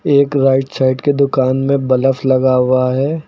एक right side कि दुकान में बलफ लगा हुआ है।